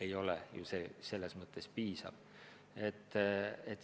Nii vähene liikumine ei ole piisav.